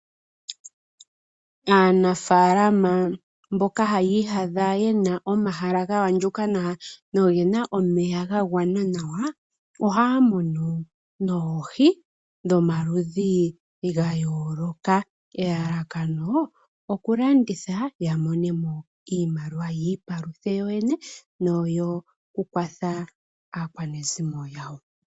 Aanafaalama mboka haya iyadha ye na omahala ga andjuka nawa noge na omeya ga gwana nawa, ohaya munu oohi dhomaludhi ga yooloka, elekano okulanditha ya mone mo iimaliwa yi ikwathe yoyene nokukwatha aakwanezimo yawo.